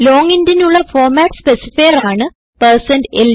long intനുള്ള format specifier ആണ്160ld